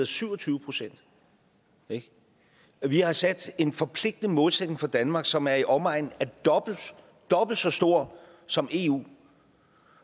syv og tyve procent vi har sat en forpligtende målsætning for danmark som er i omegnen af dobbelt dobbelt så stor som eus